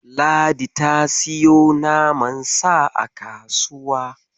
Ladi ta siyo naman Sa a kasuwa.